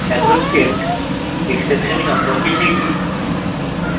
এখন checked exception সম্পর্কে শিখি